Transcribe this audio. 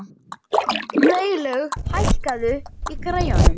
Freylaug, hækkaðu í græjunum.